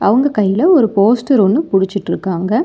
அவுங்க கைல ஒரு போஸ்டர் ஒன்னு புடிச்சுட்ருக்காங்க.